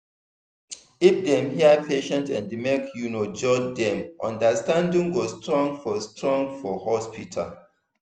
if dem hear patient and make you no judge dem understanding go strong for strong for hospital